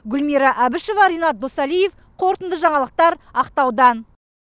гүлмира әбішева ренат досалиев қорытынды жаңалықтар ақтаудан